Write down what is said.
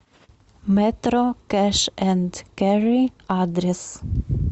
мэтро кэш энд кэрри адрес